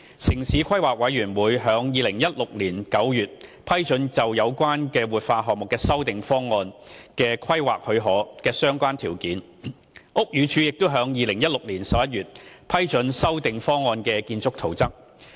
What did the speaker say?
城市規劃委員會於2016年9月批准有關活化項目修訂方案規劃許可的相關條件，屋宇署亦於2016年11月批准修訂方案的建築圖則。